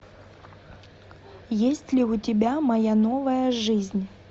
есть ли у тебя моя новая жизнь